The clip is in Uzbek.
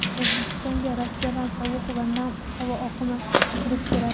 O‘zbekistonga Rossiyadan sovuq va nam havo oqimi kirib keladi.